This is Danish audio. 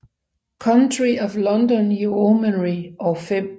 Country of London Yeomanry og 5